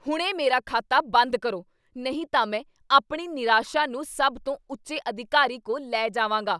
ਹੁਣੇ ਮੇਰਾ ਖਾਤਾ ਬੰਦ ਕਰੋ, ਨਹੀਂ ਤਾਂ ਮੈਂ ਆਪਣੀ ਨਿਰਾਸ਼ਾ ਨੂੰ ਸਭ ਤੋਂ ਉੱਚੇ ਅਧਿਕਾਰੀ ਕੋਲ ਲੈ ਜਾਵਾਂਗਾ।